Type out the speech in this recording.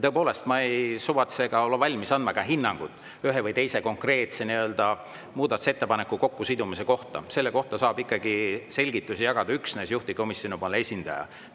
Aga ma ei ole valmis andma hinnangut ühe või teise konkreetse muudatusettepaneku kokkusidumise kohta, selle kohta saab ikkagi selgitusi jagada üksnes juhtivkomisjoni esindaja.